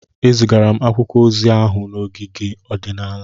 Ezigara m akwụkwọ ozi ahụ n'ogige ọdịnala.